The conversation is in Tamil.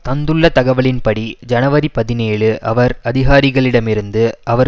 தந்துள்ள தகவலின்படி ஜனவரி பதினேழு அவர் அதிகாரிகளிடமிருந்து அவர்